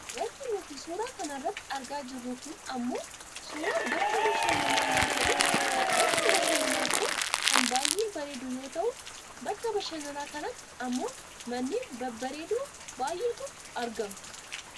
Wanti nuti suura kana irratti argaa jirru kun ammoo suuraa bakka bashananaa yoo ta'u, bakki bashannanaa kun kan baayyee bareedu yoo ta'u bakka bashannanaa kanatti ammoo manneen babbareedoo baayyeetu argama.